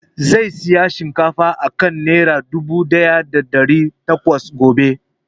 Zai saya shinkafa a kan nera dubu ɗaya da ɗari takwas gobe